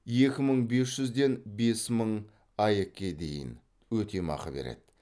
екі мың бес жүзден бес мың аек ке дейін өтемақы береді